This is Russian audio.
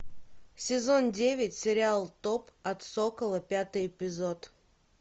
сезон девять сериал топ от сокола пятый эпизод